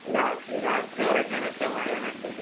രാത്രി രാത്രി ഒറങ്ങാനൊക്കെ മഴയാ നല്ലത്.